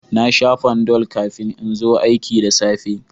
Na sha Panadol kafin in zo aiki da safe